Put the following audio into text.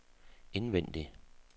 indvendig